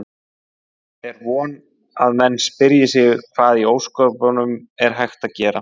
Er von að menn spyrji sig: Hvað í ósköpunum er hægt að gera?